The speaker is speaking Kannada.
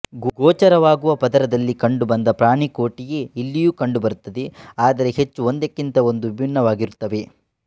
ಗೋಚರವಾಗುವ ಪದರದಲ್ಲಿ ಕಂಡು ಬಂದ ಪ್ರಾಣಿಕೋಟಿಯೇ ಇಲ್ಲಿಯೂ ಕಂಡು ಬರುತ್ತದೆ ಆದರೆ ಹೆಚ್ಚು ಒಂದಕ್ಕಿಂತ ಒಂದು ವಿಭಿನ್ನವಾಗಿರುತ್ತವೆ